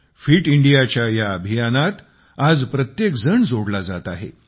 fit इंडियाच्या या अभियानाशी आज प्रत्येक जण जोडला जात आहे